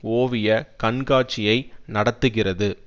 ஓவிய கண்காட்சியை நடத்துகிறது